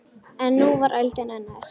En nú var öldin önnur.